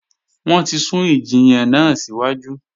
Wọ́n ti sún ìjiyàn náà síwájú